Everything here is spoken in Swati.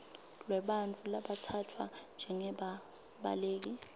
lwebantfu labatsatfwa njengebabaleki